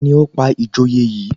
Ta ni ó pa ìjòyè yìí